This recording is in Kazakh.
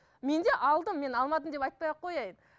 мен де алдым мен алмадым деп айтпай ақ қояын